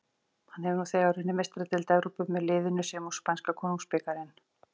Hann hefur nú þegar unnið Meistaradeild Evrópu með liðinu sem og spænska konungsbikarinn.